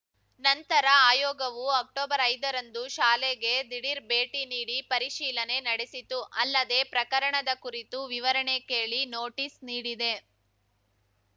ನಂತರ ಆಯೋಗವು ಅಕ್ಟೊಬರ್ಐದರಂದು ಶಾಲೆಗೆ ದಿಢೀರ್‌ ಭೇಟಿ ನೀಡಿ ಪರಿಶೀಲನೆ ನಡೆಸಿತು ಅಲ್ಲದೆ ಪ್ರಕರಣದ ಕುರಿತು ವಿವರಣೆ ಕೇಳಿ ನೋಟಿಸ್‌ ನೀಡಿದೆ